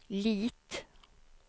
Lit